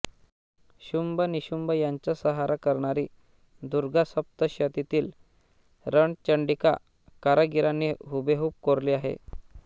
शुंभ निशुंभ यांचा संहार करणारी दुर्गा सप्तशतीतील रंणचण्डिका कारागिरांनी हुबेहूब कोरली आहे